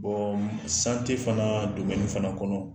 m fanaa fana kɔnɔ